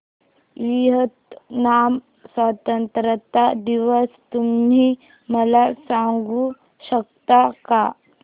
Vietnam स्वतंत्रता दिवस तुम्ही मला सांगू शकता का